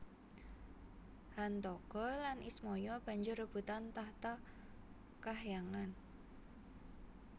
Hantaga lan Ismaya banjur rebutan tahta kahyangan